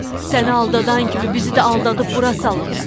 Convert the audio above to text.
Səni aldadan kimi bizi də aldadıb bura salıb.